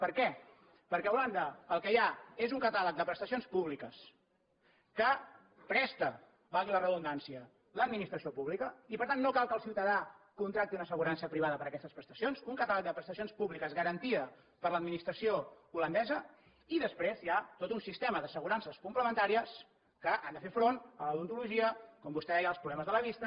per què perquè a holanda el que hi ha és un catàleg de prestacions públiques que presta valgui la redundància l’administració pública i per tant no cal que el ciutadà contracti una assegurança privada per aquestes prestacions un catàleg de prestacions públiques garantida per l’administració holandesa i després hi ha tot un sistema d’assegurances complementàries que han de fer front a l’odontologia com vostè deia als problemes de la vista